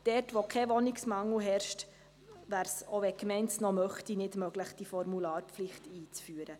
Dort, wo kein Wohnungsmangel herrscht, wäre es, selbst wenn es die Gemeinde wollte, nicht möglich, die Formularpflicht einzuführen.